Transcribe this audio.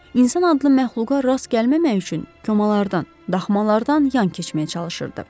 İnsan adlı məxluqa rast gəlməmək üçün komalardan, daxmalardan yan keçməyə çalışırdı.